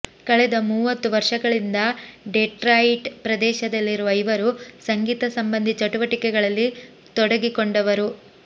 ಕಳೆದ ಮೂವತ್ತು ವರ್ಷಗಳಿಂದ ಡೆಟ್ರಾಯಿಟ್ ಪ್ರದೇಶದಲ್ಲಿರುವ ಇವರು ಸಂಗೀತ ಸಂಬಂಧಿಚಟುವಟಿಕೆಗಳಲ್ಲಿ ತೊಡಗಿಕೊಂಡವರು